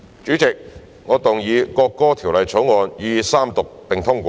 主席，我動議《國歌條例草案》予以三讀並通過。